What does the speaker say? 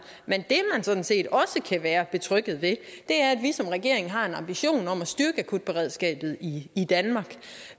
man sådan set også kan være betrygget ved er at vi som regering har en ambition om at styrke akutberedskabet i danmark